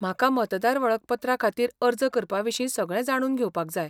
म्हाका मतदार वळखपत्रा खातीर अर्ज करपाविशीं सगळें जाणून घेवपाक जाय.